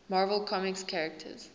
marvel comics characters